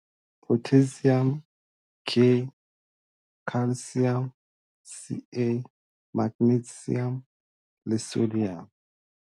Potassium, K, Calcium, Ca, Magnesium le Sodium